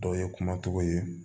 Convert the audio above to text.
Dɔw ye kumatigiw ye